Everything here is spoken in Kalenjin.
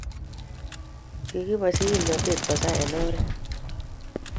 kikiboisyi kimnate kosaa eng' oret.